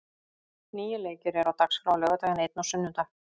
Níu leikir eru á dagskrá á laugardag, en einn á sunnudag.